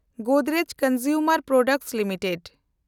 Godrej consumer products limited